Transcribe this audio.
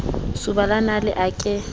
soba la nale a ke